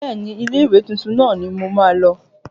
Bẹ́ẹ̀ni, ilé ìwé tuntun náà ni ǹ ó máa lọ